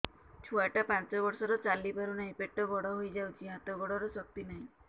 ଛୁଆଟା ପାଞ୍ଚ ବର୍ଷର ଚାଲି ପାରୁନାହଁ ପେଟ ବଡ ହୋଇ ଯାଉଛି ହାତ ଗୋଡ଼ର ଶକ୍ତି ନାହିଁ